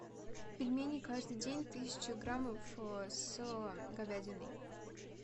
пельмени каждый день тысяча граммов с говядиной